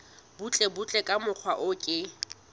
butlebutle ka mokgwa o ke